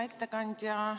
Hea ettekandja!